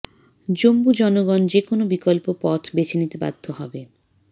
জুম্ম জনগণ যেকোনো বিকল্প পথ বেছে নিতে বাধ্য হবে